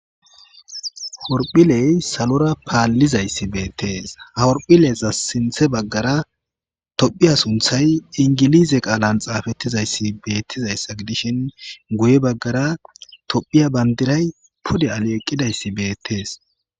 horphiley salora paallizayssi beettees hahorphileza sinthe baggara tophiya sunthay ingilize qaalan xaafettizayssi beettizayssa gidishin guye baggara tophiya bandiray pude ale eqqidayssi beettees